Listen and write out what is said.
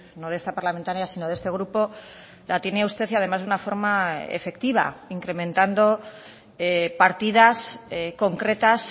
no de esta parlamentaria sino de este grupo la tiene usted y además de una forma efectiva incrementando partidas concretas